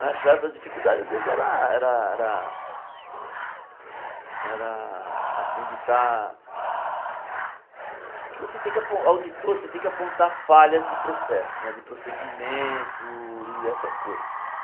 Na sharpe para as dificuldades ás vezes era era era... Era assim de estar... que você tem que Auditor, você tem que apontar falhas de processo, de procedimento e essas coisas.